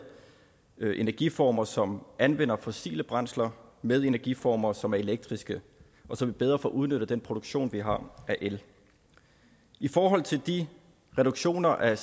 energiformer som anvender fossile brændsler med energiformer som er elektriske og så vi bedre får udnyttet den produktion vi har af el i forhold til de reduktioner af